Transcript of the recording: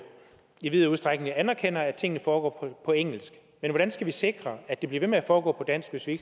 i vid udstrækning anerkender at tingene foregår på engelsk men hvordan skal vi sikre at de bliver ved med at foregå på dansk hvis vi